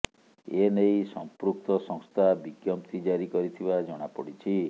ଏ ନେଇ ସଂପୃକ୍ତ ସଂସ୍ଥା ବିଜ୍ଞପ୍ତି ଜାରି କରିଥିବା ଜଣାପଡିଛି